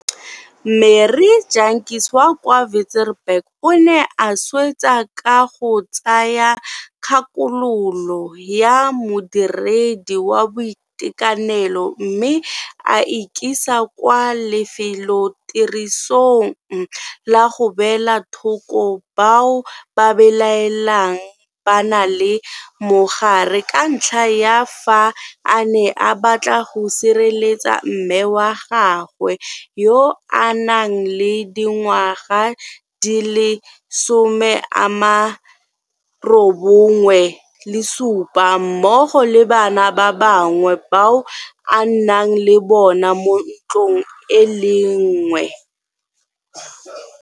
Marie Jantjies wa kwa Wi-tzenberg o ne a swetsa ka go tsaya kgakololo ya modiredi wa boitekanelo mme a ikisa kwa lefelotirisong la go beela thoko bao go belaelwang ba na le mogare ka ntlha ya fa a ne a batla go sireletsa mme wa gagwe yo a nang le dingwaga di le 97 mmogo le bana ba gagwe bao a nnang le bona mo ntlong e le nngwe.